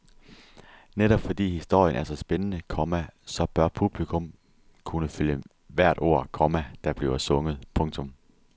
Netop fordi historien er så spændende, komma så bør publikum kunne følge hvert ord, komma der bliver sunget. punktum